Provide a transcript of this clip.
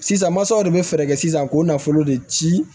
Sisan masaw de bɛ fɛɛrɛ kɛ sisan k'o nafolo de ci